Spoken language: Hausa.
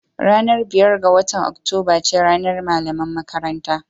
Ranar biyar ga watan Oktoba ce ranar Malaman Makaranta